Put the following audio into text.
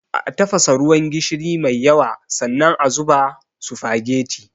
A tafasa ruwan gishiri mai yawa, sannan a zuba sufageti.